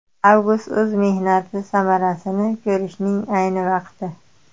Avgust o‘z mehnati samarasini ko‘rishning ayni vaqti!